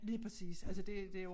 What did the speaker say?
Lige præcis altså det det der ord